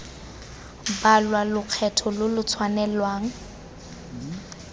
balwa lokgetho lo lo tshwanelang